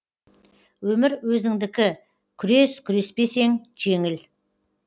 өмір өзіңдікі күрес күреспесен жеңіл